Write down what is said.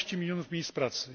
15 milionów miejsc pracy.